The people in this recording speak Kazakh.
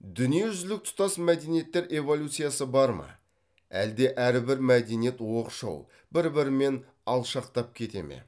дүниежүзілік тұтас мәдениеттер эволюциясы бар ма әлде әрбір мәдениет оқшау бір бірімен алшақтап кете ме